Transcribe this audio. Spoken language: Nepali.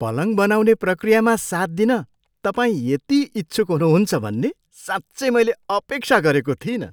पलङ बनाउने प्रक्रियामा साथ दिन तपाईँ यति इच्छुक हुनुहुन्छ भन्ने साँच्चै मैले अपेक्षा गरेको थिइनँ।